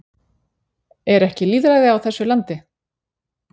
Er ekki lýðræði á þessu landi?